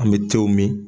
An bɛ tew min